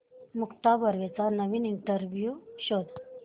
मुक्ता बर्वेचा नवीन इंटरव्ह्यु शोध